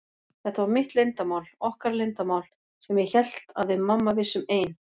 Þetta var mitt leyndarmál, okkar leyndarmál, sem ég hélt að við mamma vissum ein.